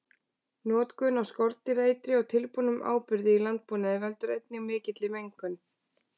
Notkun á skordýraeitri og tilbúnum áburði í landbúnaði veldur einnig mikilli mengun.